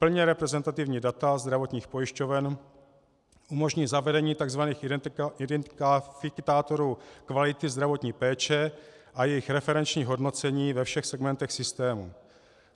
Plně reprezentativní data zdravotních pojišťoven umožní zavedení tzv. identifikátorů kvality zdravotní péče a jejich referenční hodnocení ve všech segmentech systému.